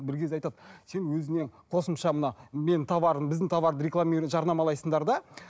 бір кезде айтады сен өзіңе қосымша мына менің товарым біздің товарды жарнамалайсыңдар да